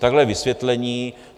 Takhle vysvětlení.